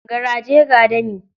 Garaje, ga dami.